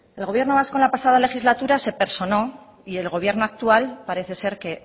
el gobierno vasco en la pasada legislatura se personó y el gobierno actual parece ser que